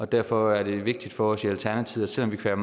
derfor er det vigtigt for os i alternativet selv om vi kan